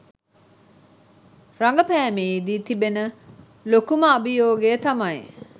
රගපෑමේදී තිබෙන ලොකුම අභියෝගය තමයි